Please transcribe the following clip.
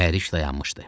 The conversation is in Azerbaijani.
Mühərrik dayanmışdı.